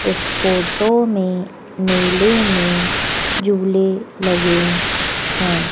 इस फोटो में मेले में झूले लगे हैं।